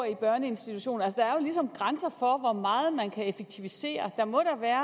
i børneinstitutioner altså er jo ligesom grænser for hvor meget man kan effektivisere der må da være